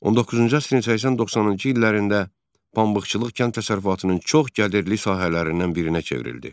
19-cu əsrin 80-90-cı illərində pambıqçılıq kənd təsərrüfatının çox gəlirli sahələrindən birinə çevrildi.